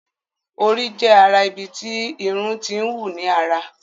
Orí jé ará ibí tí Irun t'in wù ní àrà.